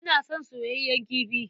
Ina son soyayyen kifi.